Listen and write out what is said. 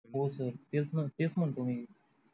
तेचण तेच म्हणतो मी